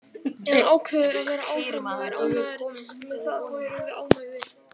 Ef hann ákveður að vera áfram og er ánægður með það þá erum við ánægðir.